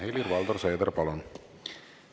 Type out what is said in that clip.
Helir-Valdor Seeder, palun!